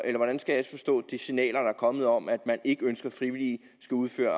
hvordan skal jeg forstå de signaler der er kommet om at man ikke ønsker at frivillige skal udføre